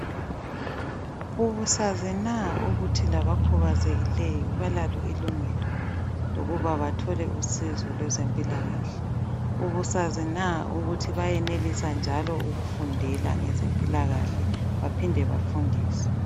Ubusazi na ukuthi labakhubazekileyo, balalo ilungelo lokuba bathole usizo lwezempilakahle? Ubusazi na ukuthi bayenelisa njalo ukufundela ngezempilakahle, baphinde bafundise?